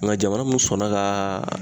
Nka jamana mun sɔnna ka